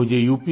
मुझे uप